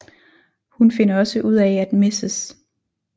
Hun finder også ud af at Mrs